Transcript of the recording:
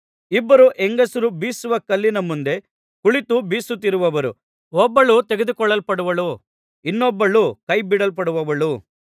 ಇಬ್ಬರು ಹೆಂಗಸರು ಬೀಸುವ ಕಲ್ಲಿನ ಮುಂದೆ ಕುಳಿತು ಬೀಸುತ್ತಿರುವರು ಒಬ್ಬಳು ತೆಗೆದುಕೊಳ್ಳಲ್ಪಡುವಳು ಇನ್ನೊಬ್ಬಳು ಕೈ ಬಿಡಲ್ಪಡುವಳು